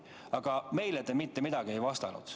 Aga meile te mitte midagi ei vastanud.